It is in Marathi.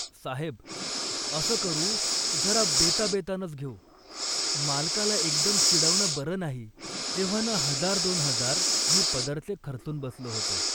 साहेब, असं करू, जरा बेताबेतानंच घेऊ, मालकाला एकदम चिडवणं बरं नाही. एव्हाना हजार दोन हजार मी पदरचे खर्चुन बसलो होतो